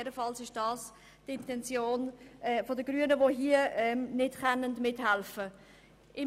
Dies ist jedenfalls die Intention der Grünen, die bei diesem Teil des Sparprogramms nicht überall mithelfen können.